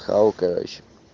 хавал короче